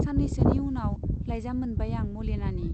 सान्नैसोनि उनाव लाइजाम मोनबाय आं मलिनानि।